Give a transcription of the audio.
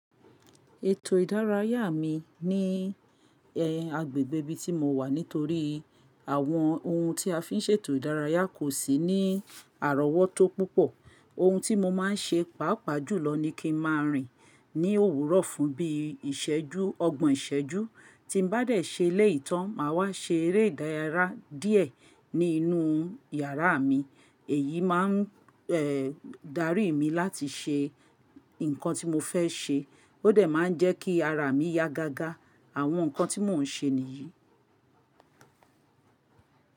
Ètò ìdárayá mi ní ẹ agbègbè ibi tí mo wà nítorí àwọn ohun tí a fi ń ṣe ètò ìdárayá kò sí ní àrọ́wọ́tó púpọ̀. Ohun tí mo má ń ṣe, pàápàá jùlọ ní kí ń má a rìn ní òwúrọ̀ fún bí ìṣẹ́jú, ọgbọ̀n ìṣẹ́jú. Tí n bá dẹ̀ ṣe ilé ìtàn má a wá ṣe eré ìdárayá díẹ̀ ní inú yàrá mi, èyí má ń eh darí mi láti ṣe nǹkan tí mo fẹ́ ṣe. Ó dẹ̀ má ń jẹ́ kí ara mi yá gágá, àwọn nǹkan tí mò ń ṣe nìyí.